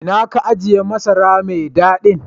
Ina ka ajie masara mai dadin?